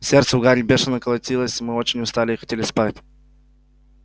сердце у гарри бешено колотилось мы очень устали и хотели спать